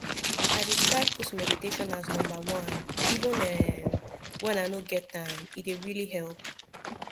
i dey try put meditation as number oneeven umwhen i no get time e dey really help